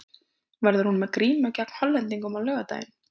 Verður hún með grímu gegn Hollendingum á laugardaginn?